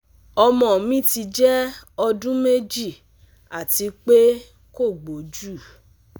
ọmọ mi ti jẹ ọdun meji ati pe ko gboju